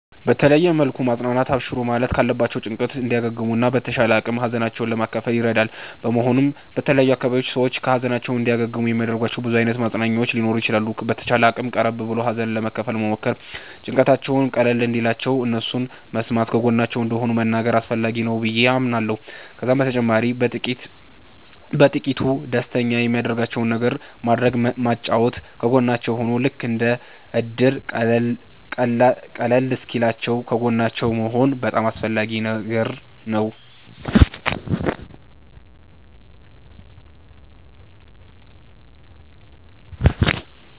በተለየ መልኩ ማፅናናት አብሽሩ ማለት ካለባቸዉ ጭንቀት እንዲያገግሙ እና በተቻለ አቅም ሀዘናቸዉን ለመካፈል ይረዳል በመሆኑም በተለያዩ አካባቢዎች ሰዎች ከ ሀዘናቸዉ እንዲያገግሙ የሚያደርጋቸዉ ብዙ አይነት ማፅናኛዎች ሊኖሩ ይችላሉ። በተቻለ አቅም ቀረብ ብሎ ሀዘንን ለመካፈል መሞከር ጭንቀታቸዉም ቀለል እንዲልላቸዉ እነሱን መስማተ ከጎናቸዉ እንደሆንን መንገር አስፈላጊ ነገር ነዉ በዬ አምናለሁ። ከዛም በተጨማሪ በጥቂቱ ደስተኛ የሚያደርጋቸዉን ነገር ማድረግ ማጫወት ከጎናቸዉ ሁኖ ልክ እንደ እድር ሃዘኑ ቀለል እሰወኪልላችዉ ከጎናቸዉ መሆን በጣም አስፈላጊ ነገር ነዉ